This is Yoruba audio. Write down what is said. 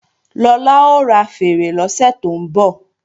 Lọlá ó ra fèèrè lọ́sẹ̀ tó ń bọ̀